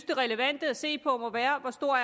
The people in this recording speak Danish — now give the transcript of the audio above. det relevante at se på må være hvor stor